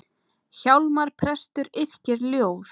Hjálmar prestur yrkir ljóð.